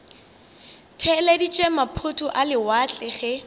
theeleditše maphoto a lewatle ge